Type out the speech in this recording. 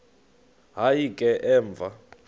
hayi ke emva